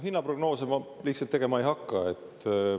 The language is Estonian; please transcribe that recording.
Hinnaprognoose ma tegema ei hakka.